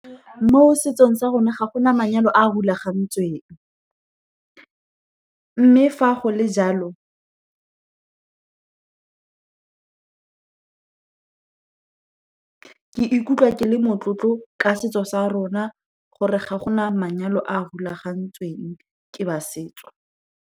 Mo setsong sa rona, ga go na manyalo a a rulagantsweng. Mme fa go le jalo, ke ikutlwa ke le motlotlo ka setso sa rona, gore ga gona manyalo a a rulagantsweng ke ba setso.